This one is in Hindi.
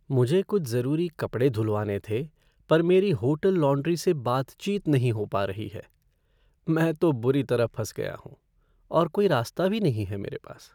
मुझे कुछ ज़रूरी कपड़े धुलवाने थे पर मेरी होटल लॉन्ड्री से बातचीत नहीं हो पा रही है। मैं तो बुरी तरह फँस गया हूँ और कोई रास्ता भी नहीं है मेरे पास।